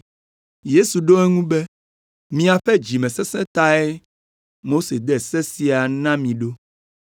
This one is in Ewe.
Yesu ɖo eŋu be, “Miaƒe dzimesesẽ tae Mose de se sia na mi ɖo.